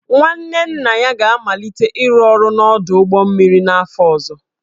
nwanne nna ya ga-amalite ịrụ ọrụ n'ọdụ ụgbọ mmiri n'afọ ọzọ